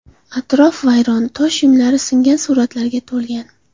Atrof vayrona, tosh uyumlari, singan suratlarga to‘lgan.